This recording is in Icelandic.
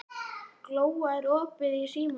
Glóa, er opið í Símanum?